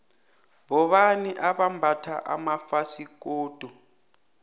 bobani abambatha amafasikodu